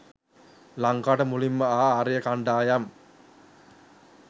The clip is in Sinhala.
ලංකාවට මුලින්ම ආ ආර්ය කණ්ඩායම්